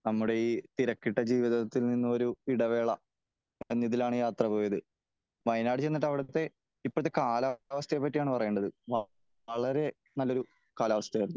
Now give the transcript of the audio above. നമ്മുടെ ഈ തിരക്കിട്ട ജീവിതത്തിൽ നിന്നും ഒരു ഇടവേള . എന്ന ഇതിലാണ് യാത്ര പോയത് . വയനാട് ചെന്നിട്ട് അവിടത്തെ ഇപ്പോഴത്തെ കാലാവസ്ഥയെ പറ്റിയാണ് പറയേണ്ടത് . വളരെ നല്ല ഒരു കാലാവസ്ഥ ആയിരുന്നു .